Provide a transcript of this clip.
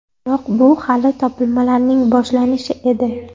Biroq bu hali topilmalarning boshlanishi edi.